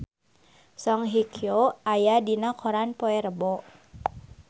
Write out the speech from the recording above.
Song Hye Kyo aya dina koran poe Rebo